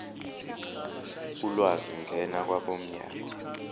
ulwazi ngena kwabomnyango